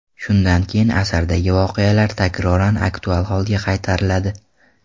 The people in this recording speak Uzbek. Shundan keyin asardagi voqealar takroran aktual holga qaytariladi.